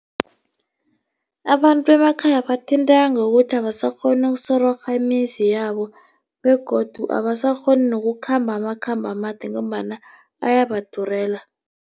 Abantu bemakhaya bathinteka ngokuthi abasakghoni ukusororha imizi yabo begodu abasakghoni nokukhamba amakhambo amade ngombana ayabadurela.